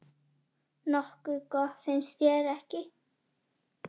Nokkuð gott, finnst þér ekki?